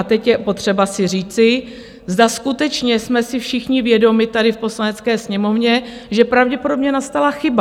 A teď je potřeba si říci, zda skutečně jsme si všichni vědomi tady v Poslanecké sněmovně, že pravděpodobně nastala chyba.